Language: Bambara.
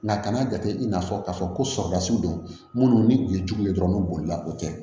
Nka kan'a jate i n'a fɔ k'a fɔ ko sɔrɔlasw don minnu ni u ye jugu ye dɔrɔn bolila o tɛ